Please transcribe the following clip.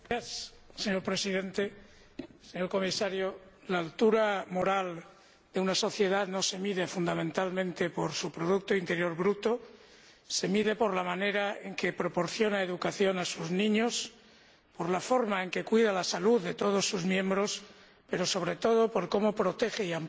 Señor Presidente, señor Comisario, la altura moral de una sociedad no se mide fundamentalmente por su producto interior bruto. Se mide por la manera en que proporciona educación a sus niños, por la forma en que cuida la salud de todos sus miembros pero, sobre todo, por cómo protege y ampara